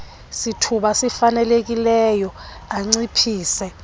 sithuba sifanelekileyo anciphise